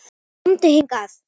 KOMDU HINGAÐ!